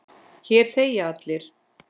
Hér þegja allir.